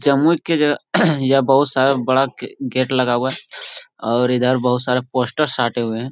जमुई के जगह यह बहुत सारा बड़ा गे गेट लगा हुआ है और इधर बहुत सारा पोस्टर साटे हुए हैं।